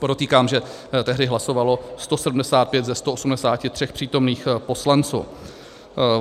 Podotýkám, že tehdy hlasovalo 175 ze 183 přítomných poslanců.